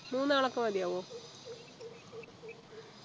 മൂന്നാൾ ഒക്കെ മതിയാവോ